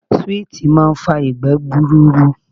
Suwiti máa ń fa ìgbẹ́ gbuuru.